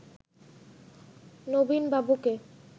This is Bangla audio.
নবীন বাবুকে